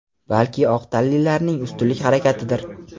balki oq tanlilarning ustunlik harakatidir.